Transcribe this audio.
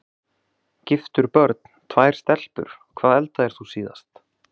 Giftur Börn: Tvær stelpur Hvað eldaðir þú síðast?